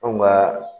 Anw ka